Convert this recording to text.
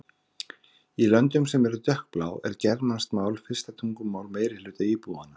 Í löndum sem eru dökkblá er germanskt mál fyrsta tungumál meirihluta íbúanna.